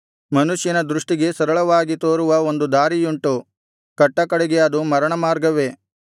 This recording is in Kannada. ಮನುಷ್ಯನ ದೃಷ್ಟಿಗೆ ಸರಳವಾಗಿ ತೋರುವ ಒಂದು ದಾರಿಯುಂಟು ಕಟ್ಟಕಡೆಗೆ ಅದು ಮರಣಮಾರ್ಗವೇ